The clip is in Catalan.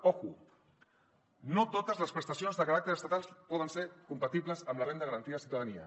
compte no totes les prestacions de caràcter estatal poden ser compatibles amb la renda garantida de ciutadania